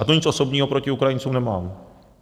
A to nic osobního proti Ukrajincům nemám.